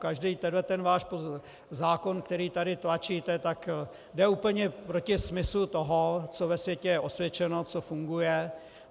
Každý tenhleten váš zákon, který tady tlačíte, tak jde úplně proti smyslu toho, co ve světě je osvědčeno, co funguje.